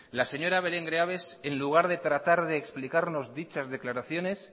la señora belén greaves en lugar de tratar de explicarnos dichas declaraciones